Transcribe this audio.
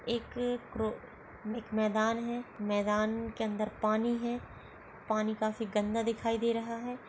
एक करो एक मैदान है मैदान के अंदर पानी है पानी काफी गंदा दिखाई दे रहा है।